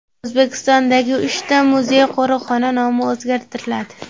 O‘zbekistondagi uchta muzey-qo‘riqxona nomi o‘zgartiriladi.